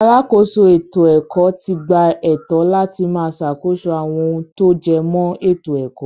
Alákòóso ètò-ẹ̀kọ́ ti gba ẹ̀tọ́ láti máa sàkóso àwọn ohun tó jẹmọ́ ètò-ẹ̀kọ́.